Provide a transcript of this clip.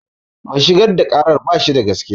Mai shigar da ƙarar bashi da gaskiya